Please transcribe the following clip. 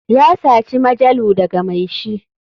Ya saci majalu daga mai shi.